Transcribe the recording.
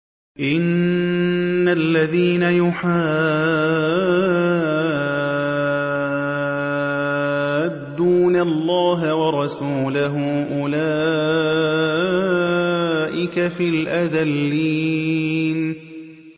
إِنَّ الَّذِينَ يُحَادُّونَ اللَّهَ وَرَسُولَهُ أُولَٰئِكَ فِي الْأَذَلِّينَ